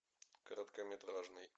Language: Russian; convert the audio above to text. короткометражный